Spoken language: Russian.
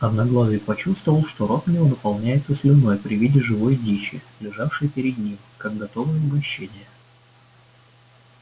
одноглазый почувствовал что рот у него наполняется слюной при виде живой дичи лежавшей перед ним как готовое угощение